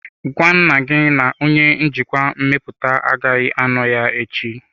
Gwa nna gị na onye njikwa mmepụta agaghị anọ ya echi.